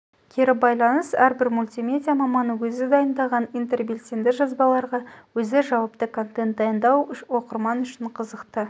кері байланыс әрбір мультимедиа маманы өзі дайындаған интербелсенді жазбаларға өзі жауапты контент дайындау оқырман үшін қызықты